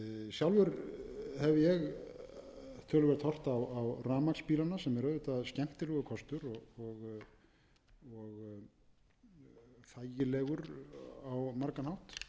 sjálfur hef ég töluvert horft á rafmagnsbílana sem er auðvitað skemmtilegur kostur og þægilegur á margan hátt ég hef